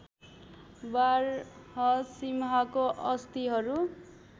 बारहसिंहाको अस्थिहरू